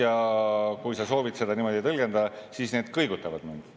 Ja kui sa soovid seda niimoodi tõlgendada, siis need kõigutavad mind.